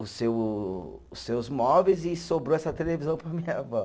os seu, os seus móveis e sobrou essa televisão para minha avó.